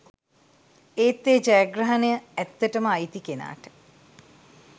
ඒත් ඒ ජයග්‍රහණය ඇත්තටම අයිති කෙනාට